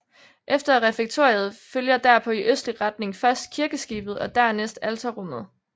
Efter refektoriet følger derpå i østlig retning først kirkeskibet og dernæst alterrummet